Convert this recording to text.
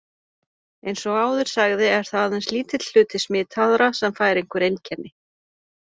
Eins og áður sagði er það aðeins lítill hluti smitaðra sem fær einhver einkenni.